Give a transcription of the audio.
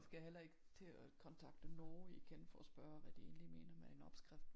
Skal heller ikke til at kontakte nogle igen for at spørge hvad de egentlig mener med en opskrift